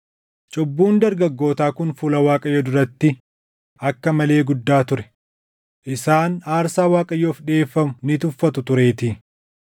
Cubbuun dargaggootaa kun fuula Waaqayyoo duratti akka malee guddaa ture; isaan aarsaa Waaqayyoof dhiʼeeffamu ni tuffatu tureetii.